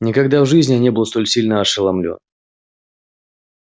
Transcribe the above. никогда в жизни я не был столь сильно ошеломлён